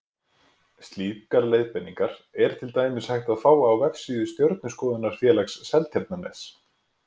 Slíkar leiðbeiningar er til dæmis hægt að fá á vefsíðu Stjörnuskoðunarfélags Seltjarnarness.